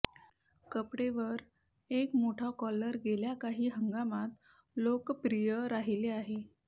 कपडे वर एक मोठा कॉलर गेल्या काही हंगामात लोकप्रिय राहिले आहे